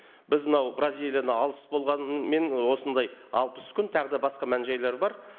біз мынау бразилияны алыс болғанымен осындай алпыс күн тағы да басқа мән жайлар бар